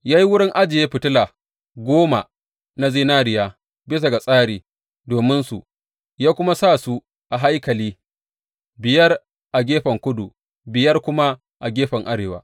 Ya yi wurin ajiye fitila goma na zinariya bisa ga tsari dominsu ya kuma sa su a haikali, biyar a gefen kudu, biyar kuma a gefen arewa.